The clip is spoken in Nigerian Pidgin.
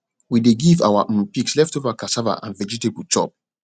we dey give our um pigs leftover cassava and vegetable chop